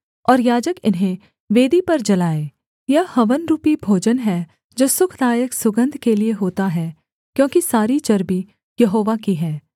और याजक इन्हें वेदी पर जलाए यह हवन रूपी भोजन है जो सुखदायक सुगन्ध के लिये होता है क्योंकि सारी चर्बी यहोवा की है